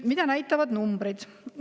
Mida näitavad numbrid?